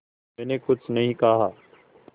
मैंने कुछ नहीं कहा